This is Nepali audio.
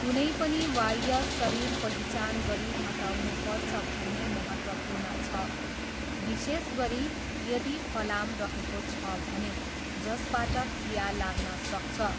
कुनै पनि वाह्य शरीर पहिचान गरी हटाउनु पर्छ भन्ने महत्त्वपूर्ण छ, विशेष गरी यदि फलाम रहेको छ भने, जसबाट खिया लाग्न सक्छ।